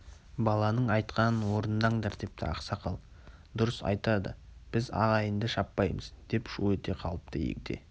баланың айтқанын орындаңдар депті ақсақал дұрыс айтады біз ағайынды шаппаймыз деп шу ете қалыпты егде